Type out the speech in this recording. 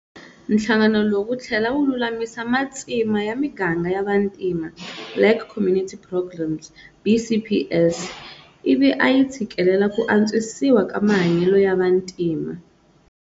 Nhlangano lowu wu thlela wu lulamisa matsima ya miganga ya vantima, Black Community Programmes-BCPs, ivi a yi tshikelela ku antshwisiwa ka mahanyele ya vantima.